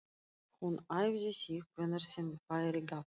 Hún æfði sig hvenær sem færi gafst.